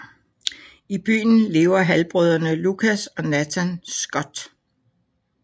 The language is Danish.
I byen lever halvbrødrene Lucas og Nathan Scott